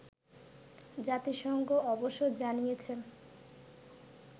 জাতিসংঘ অবশ্য জানিয়েছে